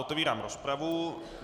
Otevírám rozpravu.